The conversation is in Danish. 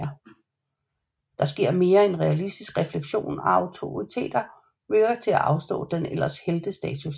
Der sker mere en realistisk reflektion og autoriteter virker til at afstå deres ellers heltestatus